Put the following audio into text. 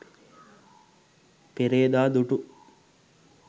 perada dutu